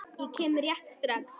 Ég kem rétt strax.